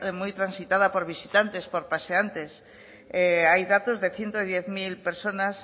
muy transitada por visitantes por paseantes hay datos de ciento diez mil personas